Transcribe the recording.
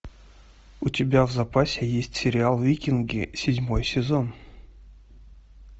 у тебя в запасе есть сериал викинги седьмой сезон